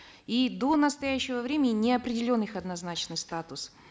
и до настоящего времени не определен их однозначный статус